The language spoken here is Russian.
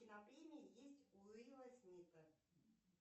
кинопремии есть у уилла смита